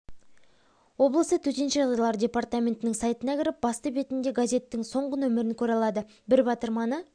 облысы төтенше жағдайлар департаментінің сайтына кіріп басты бетінде газеттің соңғы нөмірін көре алады бір батырманы